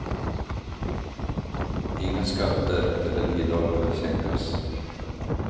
Inga skatter eller bidrag behöver sänkas.